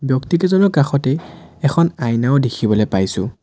ব্যক্তি কেইজনৰ কাষতেই এখন আইনাও দেখিবলৈ পাইছোঁ।